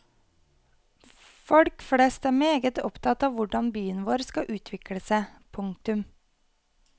Folk flest er meget opptatt av hvordan byen vår skal utvikle seg. punktum